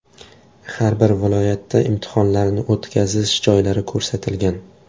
Har bir viloyatda imtihonlarni o‘tkazish joylari ko‘rsatilgan.